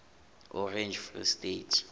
orange free state